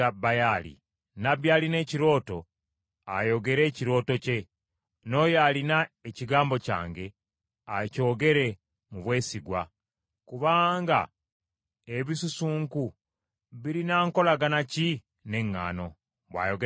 Nnabbi alina ekirooto ayogere ekirooto kye, n’oyo alina ekigambo kyange akyogere mu bwesigwa. Kubanga ebisusunku birina nkolagana ki n’eŋŋaano?” bw’ayogera Mukama .